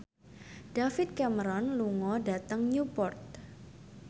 David Cameron lunga dhateng Newport